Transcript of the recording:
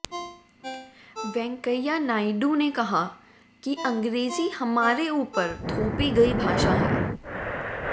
वेंकैया नायडू ने कहा कि अंग्रेजी हमारे ऊपर थोपी गई भाषा है